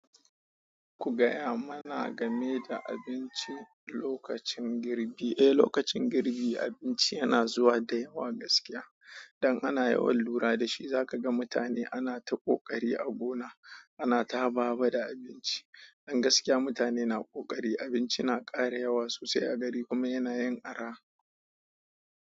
Ku gaya mana game da abinci lokacin girbi. Eh, lokacin girbi abinci yana zuwa da yawa gaskiya. Dan ana yawan lura da shi za ka ga mutane ana ta ƙoƙari a gona, ana ta haba haba da abinci. Dan gaskiya mutane na ƙoƙari, abinci na ƙara yawa sossai a gari kuma yana yin araha.